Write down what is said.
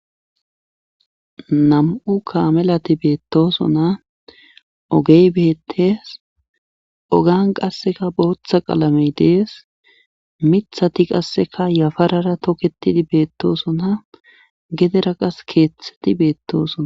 Nam7u kaamelati beettoosona ogey beettees ogiyan qasseka bootha qalamey dees mithati qasseka yafarara tokettidii bettooosona gedera qas keethti beetoosona.